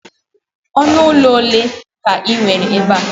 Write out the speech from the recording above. ọnụ ụlọ ole ka ị nwere ebe a?